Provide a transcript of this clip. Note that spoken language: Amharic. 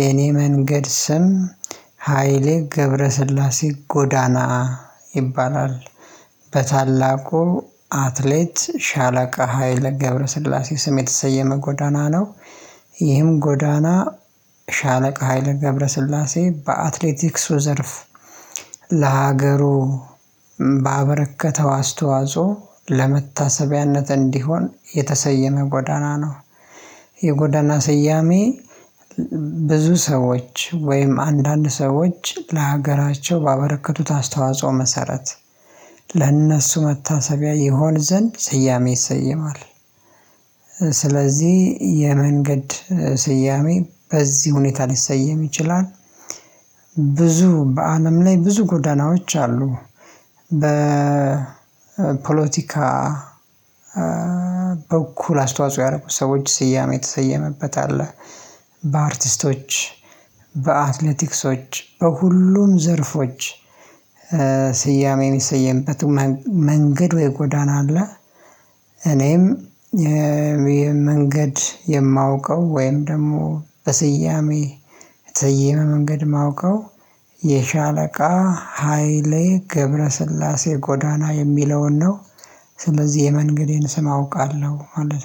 የኔ መንገድ ስም ሃይሌ ገብረስላሴ ጎዳና ይባላል። በታላቁ አትሌት ሻለቃ ሀይለ ገብረሰግላሴ ስም የተሰየመ ጎዳና ነው። ይህም ጎዳና ሻለቃ ሀይለ ገብረ ስላሴ በአትሌቲክሱ ዘርፍ ለሀገሩ ባበረከተው አስተዋጾ ለመታሰቢያነትእንዲሆን የተሰየመ ጎዳና ነው። የጎዳና ሰያሜ ብዙ ሰዎች ወይም አንዳንድ ሰዎች ለሀገራቸው ባበረከቱት አስተዋጽኦ መሰረት ለእነሱ መታሰቢያ ይሆን ዘንድ ስያሜ ይሰየማል። ስለዚህ የመንገድ ስያሜ በዚህ ሁኔታ ሊሰየም ይችላል፣ ብዙ በአለም ላይ ብዙ ጎዳናዎች አሉ በፖለቲካ በኩል አስተዋጽኦ ያደረጉ ሰዎች ስያሜ የተሰየመበት አለ በአርቲስቶች፣ በአትሌቲክሶች በሁሉም ዘርፎች ስያሜ የሚሰየንበት መንገድ ወይ ጎዳና አለ። እኔም ይሄ መንገድ የማውቀው ወይም ደግሞ በስያሜ የተሰየመ መንገድ የማውቀው የሻለቃ ሃይሌ ገብረስላሴ ጎዳና የሚለውን ነው። ስለዚህ የመንገዴን ስም አውቃለሁ ማለት ነው።